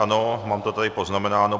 Ano, mám to tady poznamenáno.